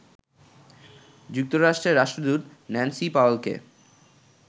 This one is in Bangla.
যুক্তরাষ্ট্রের রাষ্ট্রদূত ন্যান্সি পাওয়েলকে